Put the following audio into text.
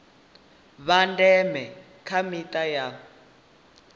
vha ndeme kha mita na